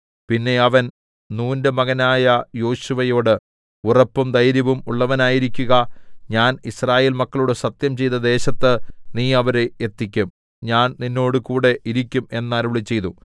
പിന്നെ അവൻ നൂന്റെ മകനായ യോശുവയോട് ഉറപ്പും ധൈര്യവും ഉള്ളവനായിരിക്കുക ഞാൻ യിസ്രായേൽ മക്കളോട് സത്യംചെയ്ത ദേശത്ത് നീ അവരെ എത്തിക്കും ഞാൻ നിന്നോടുകൂടെ ഇരിക്കും എന്നരുളിച്ചെയ്തു